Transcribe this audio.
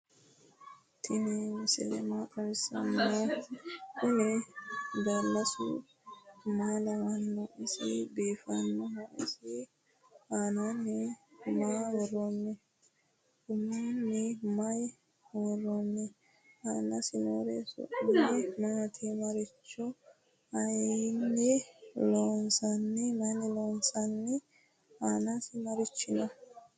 tini misile maa xawisano? kuuni dalasu malawano? isi bifanoho? isi anani maa woroni? uumoni maa woeoni? anasini noori su'mi maati? marcima mayini loonsoni? anasi marichi no?